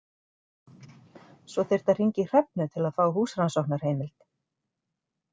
Svo þyrfti að hringja í Hrefnu til að fá húsrannsóknarheimild.